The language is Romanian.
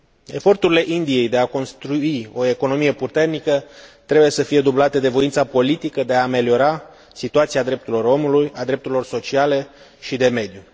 Eforturile Indiei de a construi o economie puternică trebuie să fie dublate de voința politică de a ameliora situația drepturilor omului, a drepturilor sociale și de mediu.